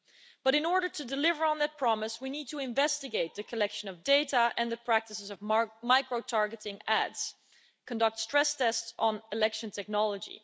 But in order to deliver on that promise we need to investigate the collection of data and the practices of micro targeting ads and conduct stress tests on election technology.